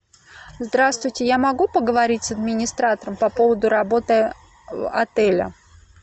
здравствуйте я могу поговорить с администратором по поводу работы отеля